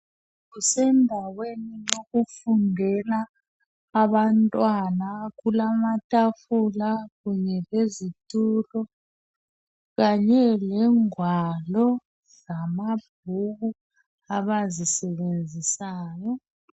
Kusendaweni yokufundela abantwana amatafula kunye lezitulo kanye lengwalo zamabhuku abazisebenzisayo.